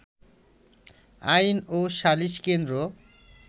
আইন ও সালিশ কেন্দ্র